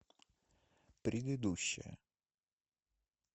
предыдущая